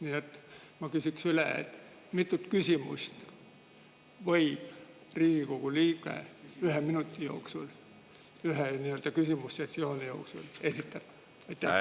Nii et ma küsin üle, mitu küsimust võib Riigikogu liige ühe minuti jooksul, ühe küsimusesessiooni jooksul esitada.